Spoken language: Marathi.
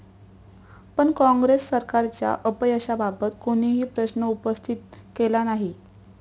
पण काँग्रेस सरकारच्या अपयशाबाबत कोणीही प्रश्न उपस्थित केला नाही.